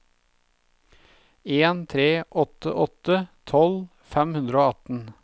en tre åtte åtte tolv fem hundre og atten